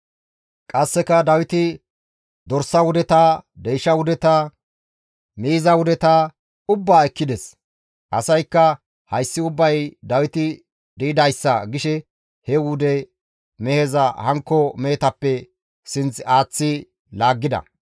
Qasseka Dawiti dorsa wudeta, deysha wudeta, miiza wudeta ubbaa ekkides; asaykka, «Hayssi ubbay Dawiti di7idayssa» gishe he wude meheza hankko mehetappe sinth aaththi laaggida.